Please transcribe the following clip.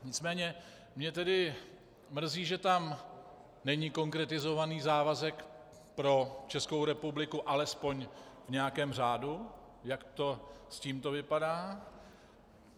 Nicméně mě tedy mrzí, že tam není konkretizovaný závazek pro Českou republiku alespoň v nějakém řádu, jak to s tímto vypadá.